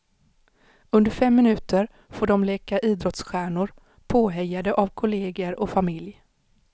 Under fem minuter får de leka idrottsstjärnor, påhejade av kolleger och familj.